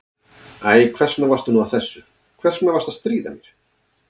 Æ, hvers vegna varstu nú að þessu, hvers vegna varstu að stríða mér?